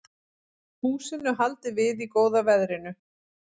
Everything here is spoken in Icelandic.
Húsinu haldið við í góða veðrinu